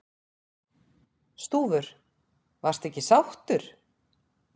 Stúfur: Varstu ekki sáttur?